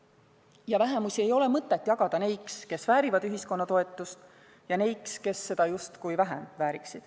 Ja vähemusi ei ole mõtet jagada neiks, kes väärivad ühiskonna toetust, ja neiks, kes väärivad seda justkui vähem.